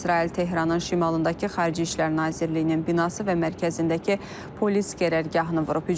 İsrail Tehranın şimalındakı Xarici İşlər Nazirliyinin binası və mərkəzindəki polis qərərgahını vurub.